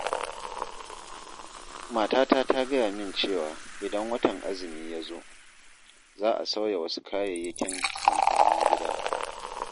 Matata ta gaya min cewa, idan watan azumi ya zo, za a sauya wasu kayayyakin amfanin gida.